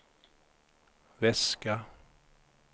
väska